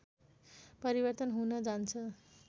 परिवर्तन हुन जान्छ